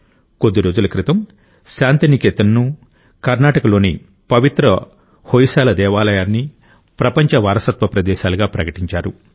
కొద్ది రోజుల క్రితం శాంతినికేతన్ ను కర్ణాటకలోని పవిత్ర హొయసాల దేవాలయాన్ని ప్రపంచ వారసత్వ ప్రదేశాలుగా ప్రకటించారు